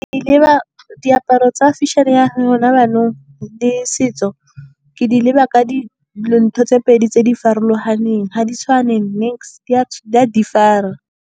Diaparo tsa fashion-e ya gona jaanong le setso ke di leba ka ntho tse pedi tse di farologaneng, ga di tshwane niks-e di a differ-ra.